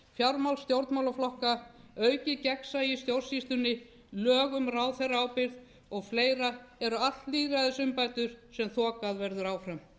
fjármál stjórnmálaflokka aukið gegnsæi í stjórnsýslunni lög um ráðherraábyrgð og fleira eru allt lýðræðisumbætur sem þokað verður áfram